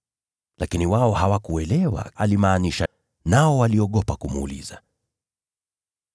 Lakini wao hawakuelewa kile alimaanisha, nao waliogopa kumuuliza maana yake.